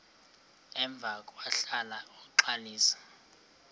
emva kwahlala uxalisa